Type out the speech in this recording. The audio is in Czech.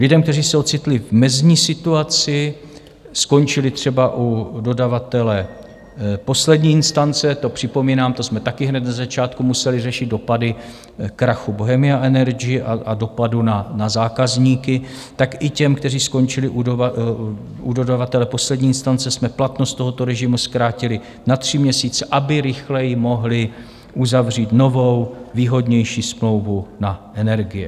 Lidem, kteří se ocitli v mezní situaci, skončili třeba u dodavatele poslední instance, to připomínám, to jsme taky hned na začátku museli řešit, dopady krachu Bohemia Energy a dopadu na zákazníky, tak i těm, kteří skončili u dodavatele poslední instance jsme platnost tohoto režimu zkrátili na tři měsíce, aby rychleji mohli uzavřít novou, výhodnější smlouvu na energie.